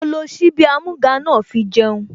Mo lo ṣíbí amúga náà fi jẹun